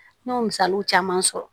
N y'o misaliw caman sɔrɔ